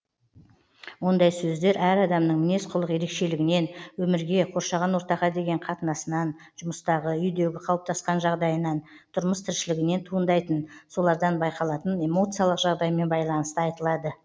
ондай сөздер әр адамның мінез құлық ерекшелігінен өмірге қоршаған ортаға деген қатынасынан жұмыстағы үйдегі қалыптасқан жағдайынан тұрмыс тіршілігінен туындайтын солардан байқалатын эмоциялық жағдаймен байланысты айтылады